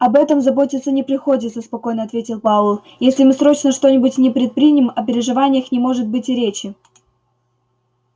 об этом заботиться не приходится спокойно ответил пауэлл если мы срочно что-нибудь не предпримем о переживаниях не может быть и речи